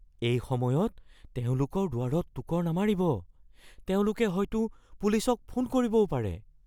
এই সময়ত তেওঁলোকৰ দুৱাৰত টোকৰ নামাৰিব। তেওঁলোকে হয়তো পুলিচক ফোন কৰিবও পাৰে।